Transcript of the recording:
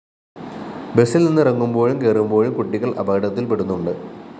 ബസില്‍നിന്ന് ഇറങ്ങുമ്പോഴും കയറുമ്പോഴും കുട്ടികള്‍ അപകടത്തില്‍ പെടുന്നുണ്ട്